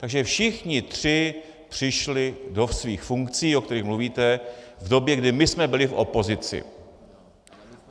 Takže všichni tři přišli do svých funkcí, o kterých mluvíte, v době, kdy my jsme byli v opozici.